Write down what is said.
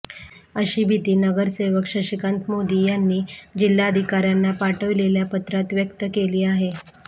अशी भीती नगरसेवक शशिकांत मोदी यांनी जिल्हाधिकाऱ्यांना पाठविलेल्या पत्रात व्यक्त केली आहे